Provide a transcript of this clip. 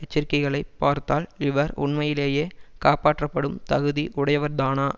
எச்சரிக்கைகளைப் பார்த்தால் இவர் உண்மையிலேயே காப்பாற்றப்படும் தகுதி உடையவர்தானா